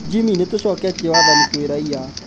Jimmy: Nĩtũcoketie wathani kwĩ raia